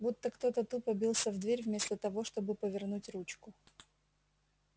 будто кто-то тупо бился в дверь вместо того чтобы повернуть ручку